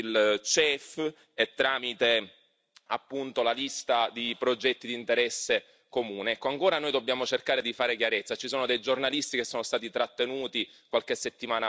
dalla Commissione europea, tramite il CEF e tramite appunto la lista di progetti di interesse comune. Ecco, ancora noi dobbiamo cercare di fare chiarezza.